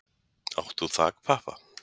Átt þú þakpappa?